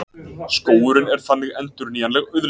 Skógurinn er þannig endurnýjanleg auðlind.